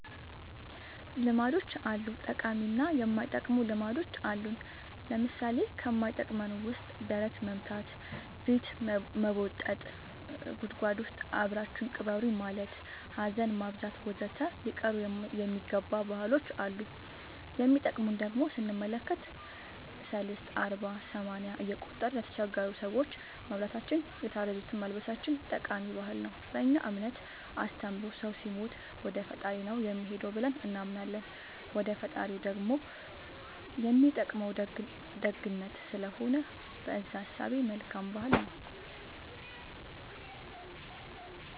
ልማዶች አሉ ጠቃሚ እና የማይጠቅሙ ልማዶች አሉን ለምሳሌ ከማይጠቅመን ውስጥ ደረት መምታ ፊት መቦጠጥ ጉድጎድ ውስጥ አብራችሁኝ ቅበሩኝ ማለት ሀዘን ማብዛት ወዘተ ሊቀሩ የሚገባ ባህሎች አሉ የሚጠቅሙን ደሞ ስንመለከት ሰልስት አርባ ሰማንያ እየቆጠርን ለተቸገሩ ሰዎች ማብላታችን የታረዙትን ማልበሳችን ጠቃሚ ባህል ነው በእኛ እምነት አስተምሮ ሰው ሲሞት ወደፈጣሪው ነው የሚሄደው ብለን እናምናለን ወደ ፈጣሪው ደሞ የሚጠቅመው ደግነት ስለሆነ በእዛ እሳቤ መልካም ባህል ነው